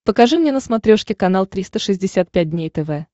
покажи мне на смотрешке канал триста шестьдесят пять дней тв